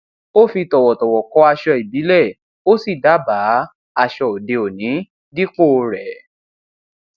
ó fi tọwọtọwọ kọ aṣọ ìbílẹ ó sì dábàá aṣọ òdeòní dípò rẹ